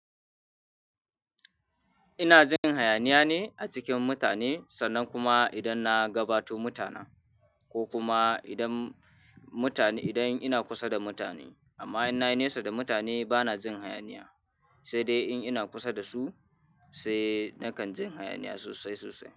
Ina jin hayaniya ne a cikin mutane sannan kuma idan na gabato mutanen ko kuma idan mutane, idan ina kusa da mutane. Amma in nayi nesa da mutane bana jin hayaniya, sai dai in ina kusa da su sai nakan jin hayaniya sosai sosai.